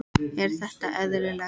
Er þetta eðlilegt?